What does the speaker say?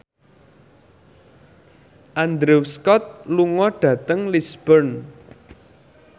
Andrew Scott lunga dhateng Lisburn